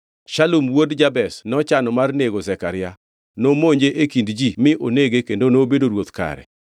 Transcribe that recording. Shalum wuod Jabesh nochano mar nego Zekaria. Nomonje e kind ji mi onege kendo nobedo ruoth kare.